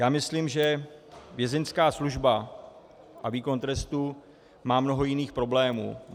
Já myslím, že Vězeňská služba a výkon trestu má mnoho jiných problémů.